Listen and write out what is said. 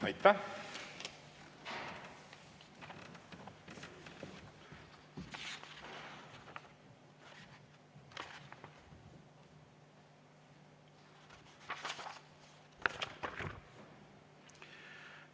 Aitäh!